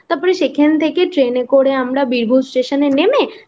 সেখান থেকে ট্রেনে করে আমরা বীরভূম স্টেশনে নেমে